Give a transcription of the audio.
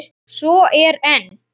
Svo er enn.